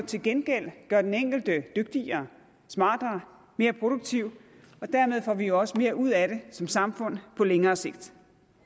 til gengæld gør den enkelte dygtigere smartere mere produktiv og dermed får vi jo også mere ud af det som samfund på længere sigt